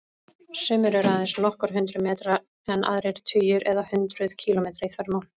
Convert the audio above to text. Sumir eru aðeins nokkur hundruð metra en aðrir tugir eða hundruð kílómetra í þvermál.